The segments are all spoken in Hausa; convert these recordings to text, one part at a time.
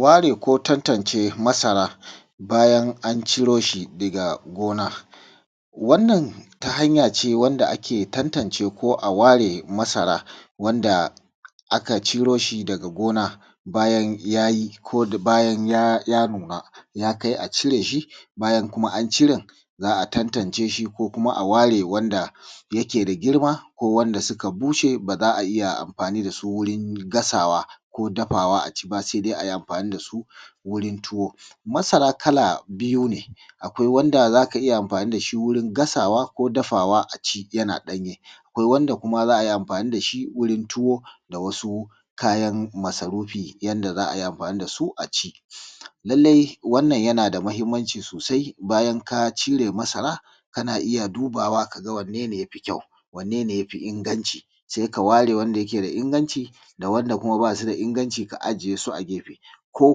ware ko tantance masara bayan an ciro shi daga gona wannan ta hanya ce wanda ake tantance ko a ware masara wanda aka ciro shi daga gona bayan yayi ko bayan nuna ya kai a cire shi bayan kuma an ciren za a tantance shi ko kuma a ware wanda yake da girma ko wanda suka bushe ba za a iya amfani da su wurin gasawa ba ko dafawa a ci ba sai dai ai amfani da su wurin tuwo masara kala biyu ne akwai wanda za ka iya amfani da shi wurin gasawa ko dafawa a ci yana ɗanye akwai wanda za ai amfani da shi gurin tuwo da wasu kayan masarufi yadda za ai amfani da su a ci lallai wannan yana da mahimmanci sosai bayan ka cire masara kana iya dubawa ka ga wanne ne ya fi kyau wanne ne ya fi inganci sai ka ware wanda yake da inganci da wanda bai da inganci ka ajiye su a gefe ko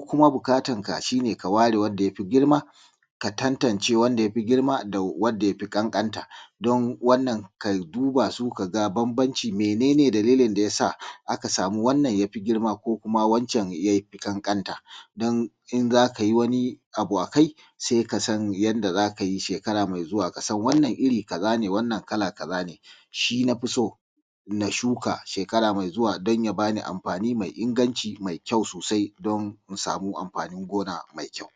kuma buƙatar ka shi ne ka ware wanda ya fi girma ka tantance wanda ya fi girma da wanda ya fi ƙanƙanta don wannan ka duba su ka ga bambancin mene ne dalilin da ya sa aka samu wannan ya fi girma ko kuma wancan ya fi ƙanƙanta don in za ka yi wani abu akai sai ka san yadda za ka yi shekara mai zuwa kasan wannan iri kaza ne kala kaza ne shi na fi so na shuka shekara mai zuwa don ya bani amfani mai inganci mai kyau sosai don mu samu amfanin gona mai kyau